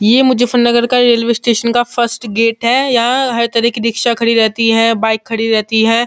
ये मुजफरनगर का railway station का फर्स्ट गेट है यहाँ हर तह की रिक्सा खड़ी रहती है बाइक खड़ी रहती है।